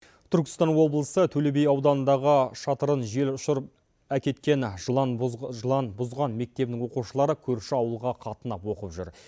түркістан облысы төле би ауданындағы шатырын жел ұшырып әкеткен жыланбұзған мектебінің оқушылары көрші ауылға қатынап оқып жүр